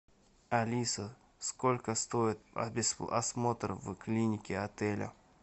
алиса сколько стоит осмотр в клинике отеля